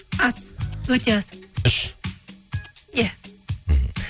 аз өте аз үш иә мхм